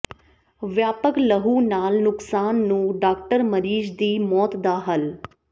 ਵਿਆਪਕ ਲਹੂ ਨਾਲ ਨੁਕਸਾਨ ਨੂੰ ਡਾਕਟਰ ਮਰੀਜ਼ ਦੀ ਮੌਤ ਦਾ ਹੱਲ